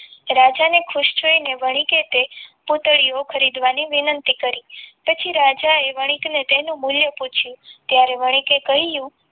રાજાને ખુશ જોઈને વણી કે તે પૂતળીઓ ખરીદવાની વિનંતી કરી પછી રાજાએ વણિકને તેનું મૂલ્ય પૂછ્યું ત્યારે વણી કે કહ્યું.